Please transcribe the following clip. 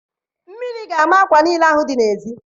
Mmiri ga-ama akwa niile ahụ dị n'ezi.